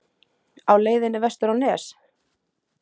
Á leiðinni vestur á Nes?